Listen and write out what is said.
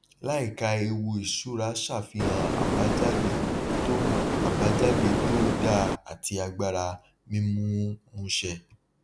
láìka ewu ìṣúra ṣàfihàn àbájáde tó àbájáde tó dáa àti agbára mímúmúṣe